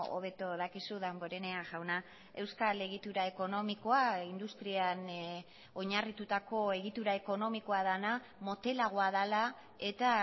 hobeto dakizu damborenea jauna euskal egitura ekonomikoa industrian oinarritutako egitura ekonomikoa dena motelagoa dela eta